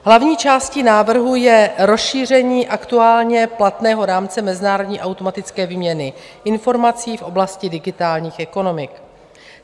Hlavní částí návrhu je rozšíření aktuálně platného rámce mezinárodní automatické výměny informací v oblasti digitálních ekonomik.